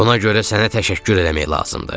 Buna görə sənə təşəkkür eləmək lazımdır.